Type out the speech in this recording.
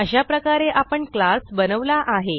अशाप्रकारे आपण क्लास बनवला आहे